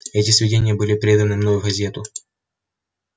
эти сведения были переданы мной в газету